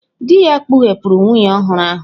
Dị ya kpughepụrụ nwunye ọhụrụ ahụ.